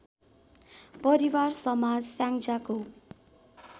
परिवार समाज स्याङ्जाको